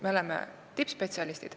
Me oleme tippspetsialistid.